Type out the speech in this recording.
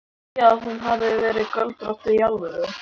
Trúirðu því að hún hafi verið göldrótt. í alvöru?